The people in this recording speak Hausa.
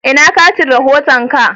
Ina katin rahoton ka?